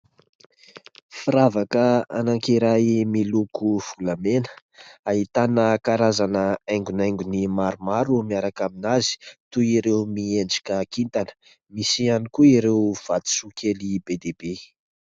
Firavaka anankiray miloko volamena ahitana karazana haingonaingony maromaro miaraka aminazy toy ireo miendrika kintana ; misy ihany koa ireo vatosoa kely be dia be.